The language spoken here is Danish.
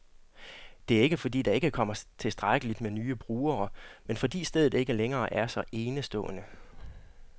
Det er ikke, fordi der ikke kommer tilstrækkeligt med nye brugere, men fordi stedet ikke længere er så enestående.